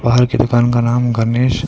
बाहर की दुकान का नाम गणेश--